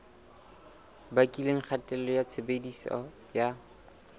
bakileng kgatello ya tshebediso ya